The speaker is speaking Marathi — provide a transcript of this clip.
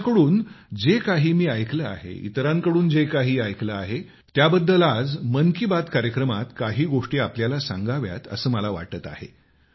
त्यांच्याकडून जे काही मी ऐकले आहे इतरांकडून जे काही ऐकले आहे त्याबद्दल आज मन की बात कार्यक्रमात काही गोष्टी आपल्याला सांगाव्यात असे मला वाटते आहे